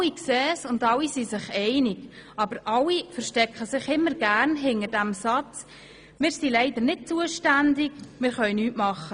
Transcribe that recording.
Alle sehen dies ein und alle sind sich einig, aber alle verstecken sich gerne hinter dem Satz: Wir sind leider nicht zuständig, wir können nichts tun.